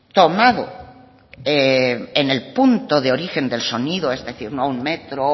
tomado en el punto de origen del sonido es decir no un metro